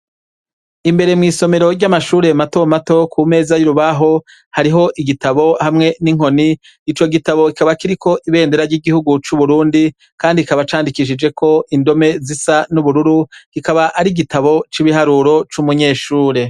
Imbere mw'isomero ry'amashuri e matomato ku meza y'urubaho hariho igitabo hamwe n'inkoni ico gitabo ikaba kiriko ibendera ry'igihugu c'uburundi, kandi kikaba candikishijeko indome zisa n'ubururu gikaba ari igitabo c'ibiharuro c'umunyeshure.